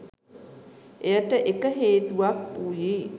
එයට එක හේතුවක් වුයේ